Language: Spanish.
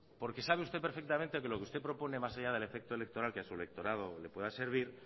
porque sabe usted perfectamente que lo que usted propone más allá del efecto electoral que a su electorado le podrá servir